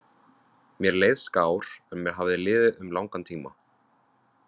Mér leið skár en mér hafði liðið um langan tíma.